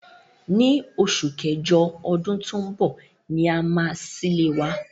Ní osù kẹ́jọ odún to n bò ni a máa sílé wa